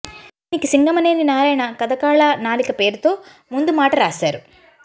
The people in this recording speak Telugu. దీనికి సింగమనేని నారాయణ కథ కాల నాళిక పేరుతో ముందుమాట రాశారు